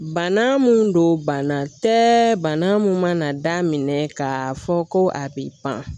Bana mun don bana tɛ bana mun mana daminɛ ka fɔ ko a bi pan